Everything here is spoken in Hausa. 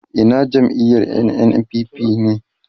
Ina jam'iyar NNPP ne